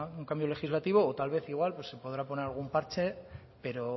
un cambio legislativo o tal vez igual se podrá poner algún parche pero